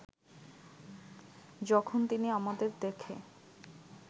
যখন তিনি আমাদের দেখে